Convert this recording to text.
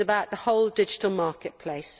it is about the whole digital market place.